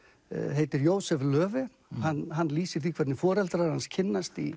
heitir Jósef Löve hann lýsir því hvernig foreldrar hans kynnast í